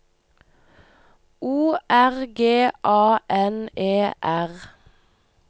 O R G A N E R